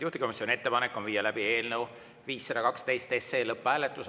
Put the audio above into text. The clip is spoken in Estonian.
Juhtivkomisjoni ettepanek on viia läbi eelnõu 512 lõpphääletus.